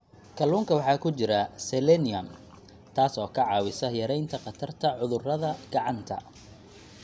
Kalluunka waxaa ku jira selenium, taas oo ka caawisa yaraynta khatarta cudurada gacanta.